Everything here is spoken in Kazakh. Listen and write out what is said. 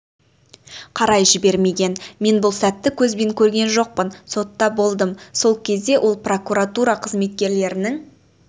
қарай жібермеген мен бұл сәтті көзбен көрген жоқпын сотта болдым сол кезде ол прокуратура қызметкерлерінің